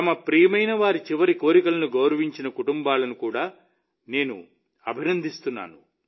తమ ప్రియమైనవారి చివరి కోరికలను గౌరవించిన కుటుంబాలను కూడా నేను అభినందిస్తాను